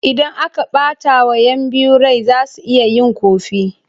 Idan aka ɓatawa 'yan biyu rai za su iya yin ƙofi.